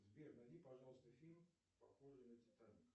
сбер найди пожалуйста фильм похожий на титаник